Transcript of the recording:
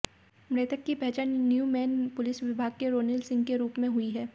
मृतक की पहचान न्यूमेन पुलिस विभाग के रोनिल सिंह के रूप में हुई है